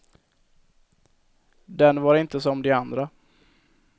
Den var inte som de andra.